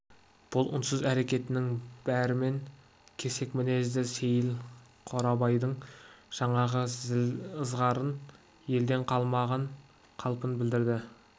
бұл үнсіз әрекетінің бәрімен кесек мінезді сейіл қорабайдың жаңағы зіл ызғарын елең қылмаған қалпын білдірді